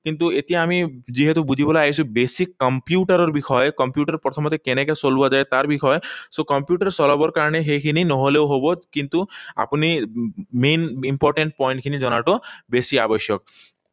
কিন্তু এতিয়া আমি যিহেতু বুজিবলৈ আহিছোঁ basic কম্পিউটাৰৰ বিষয়ে, কম্পিউটাৰ প্ৰথমতে কেনেকৈ চলোৱা যায়, তাৰ বিষয়ে। So, কম্পিউটাৰ চলাবৰ কাৰণে সেইখিনি নহলেও হব। কিন্তু আপুনি main important point খিনি জনাটো বেছি আৱশ্যক।